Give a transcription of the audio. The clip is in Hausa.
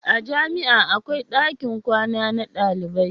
a jami'a akwai ɗakin kwana na ɗalibai